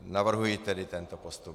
Navrhuji tedy tento postup.